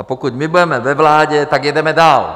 A pokud my budeme ve vládě, tak jedeme dál.